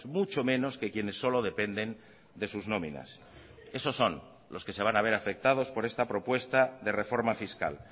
mucho menos que quienes solo dependen de sus nóminas esos son los que se van a haber afectados por esta propuesta de reforma fiscal